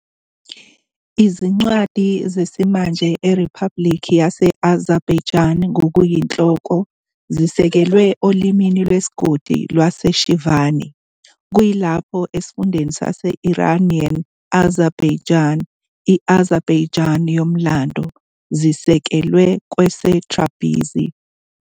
Izincwadi zesimanje eRiphabhulikhi yase-Azerbaijan ngokuyinhloko zisekelwe olimi lwesigodi lwaseShirvani, kuyilapho esifundeni sase-Iranian Azerbaijan, i-Azerbaijan yomlando, zisekelwe kwese -Tabrizi.